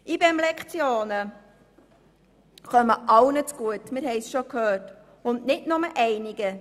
IBEM-Lektionen kommen allen zugute, wie wir gehört haben, und nicht nur einzelnen.